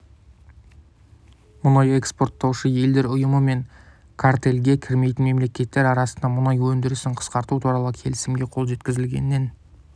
мұнай экспорттаушы елдер ұйымы мен картельге кірмейтін мемлекеттер арасында мұнай өндірісін қысқарту туралы келісімге қол жеткізілгеннен